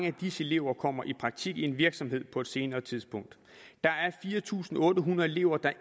af disse elever kommer i praktik i en virksomhed på et senere tidspunkt der er fire tusind otte hundrede elever der